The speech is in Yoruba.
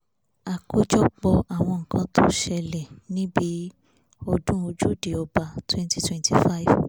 àkójọpọ̀ àwọn nǹkan tó ṣẹlẹ̀ níbi ọdún ojúde ọba 2025